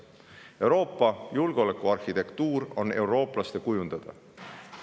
Euroopa julgeolekuarhitektuur on eurooplaste kujundada.